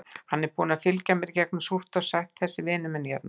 Hann er búinn að fylgja mér í gegnum súrt og sætt, þessi vinur minn hérna.